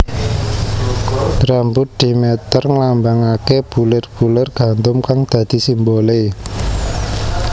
Rambut Demeter nglambangake bulir bulir gandum kang dadi simbole